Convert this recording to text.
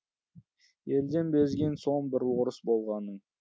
елден безген соң бір орыс болғаның